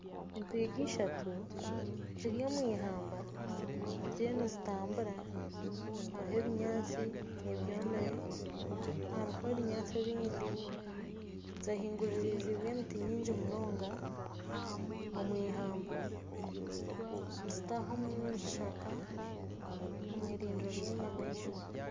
Entwiga ishatu ziri omwihamba ziriyo nizitambura hariho ebinyaatsi ebyomire hariho ebinyaatsi ebindi zehinguririzibwe emiti mingi munonga omwihamba nizitaha omu kishaka omwirindiro ry'enyamaishwa.